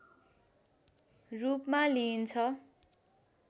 रूपमा लिइन्छ